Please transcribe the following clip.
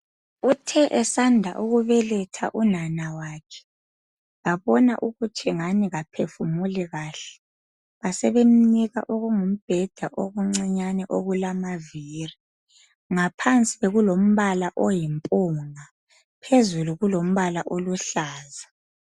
Uthe esanda ukubeletha unana wakhe babona ukuthi ngani kaphefumuli kahle basebemnika okungumbheda okuncinyane okulamavili ngaphansi bekulombala oyimpunga phezulu kulombala oluhlaza.